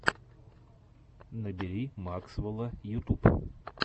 набери максвэлла ютуб